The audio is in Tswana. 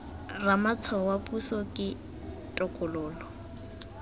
ramatshwao wa puso ke tokololo